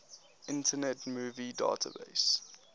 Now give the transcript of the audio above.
internet movie database